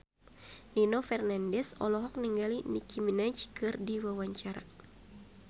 Nino Fernandez olohok ningali Nicky Minaj keur diwawancara